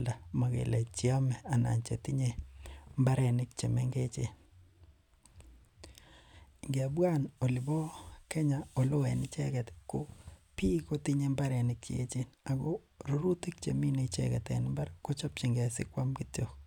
alda mogele cheome anan chetinye mbarenik chemengechen, ngebwan olipo kenya oleo en icheget ko biik kotinye mbarenik cheechen ako rurutik chemine icheget en mbar kochobjigen sikwam kityo